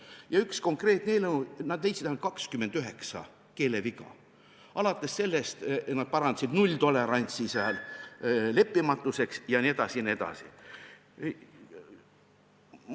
Näiteks oli üks konkreetne eelnõu, millest nad leidsid 29 keeleviga alates sellest, et parandasid "nulltolerantsi" "leppimatuseks" jne.